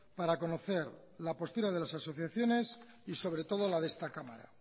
para conocer la postura de las asociaciones y sobre todo las de esta cámara